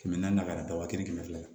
Kɛmɛ naani na ka na daba kelen fɛ yen